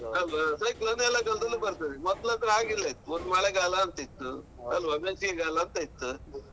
ಅಲ್ವಾ cyclone ಎಲ್ಲ ಕಾಲದಲ್ಲೂ ಬರ್ತದೆ ಮೊದ್ಲ ಆದ್ರೆ ಹಾಗಿಲ್ಲ ಒಂದ್ಮಳೆಗಾಲ ಅಂತ ಇತ್ತು ಅಲ್ವ? ಬೇಸಿಗೆಗಾಲ ಅಂತ ಇತ್ತು.